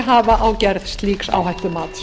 hafa á gerð slíks áhættumats